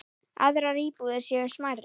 Aðrar íbúðir séu smærri.